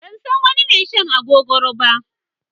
Ban san wani mai shan agogoro ba.